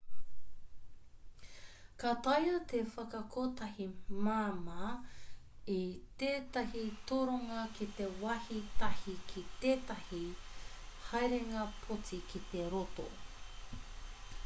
ka taea te whakakotahi māmā i tētahi toronga ki te wāhi tahi ki tētahi haerenga poti ki te roto